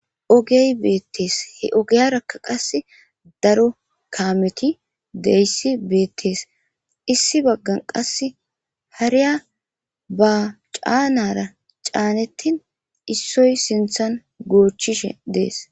Oggey beetees. He ogara qasekka daro qase Kameti De'zaysi Betes issi baganka qase Hariyaba Canara Canetin issoy sinthan Gochishe Dess.